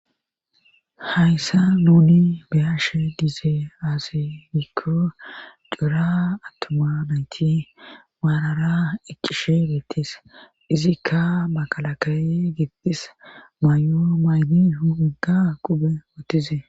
hayssan nuuni beyashe diiza aaze giko cora attuma nayti maarara eqqishe deetes izikka makalakaye giddis may7o mayid huphenka qobe wothes